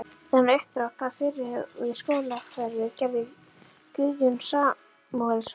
Þennan uppdrátt af fyrirhuguðu háskólahverfi gerði Guðjón Samúelsson